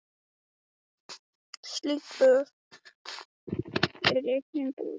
Slík böð eru einnig í boði í Stykkishólmi.